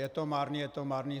Je to marný, je to marný.